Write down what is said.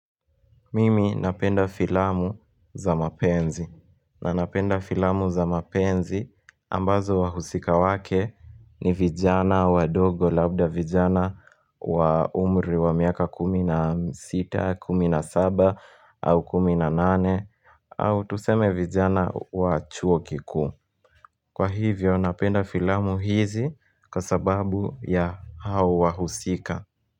Mimi napenda filamu za mapenzi na napenda filamu za mapenzi ambazo wahusika wake ni vijana wadogo labda vijana wa umri wa miaka 16, 17 au 18 au tuseme vijana wachuo kiku Kwa hivyo napenda filamu hizi kwa sababu ya hao wahusika.